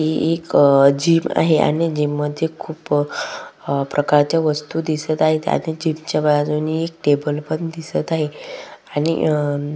हि एक अ जीम आहे आणि जीम मध्ये खुप अ प्रकारचे वस्तू दिसत आहेत आणि जीम च्या बाजुनी टेबल पण दिसत आहे आणि अ --